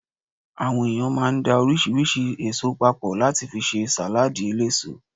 Àwọn èèyàn máa ń da oríṣiríṣi èso papọ̀ láti fi ṣe sàládì eléso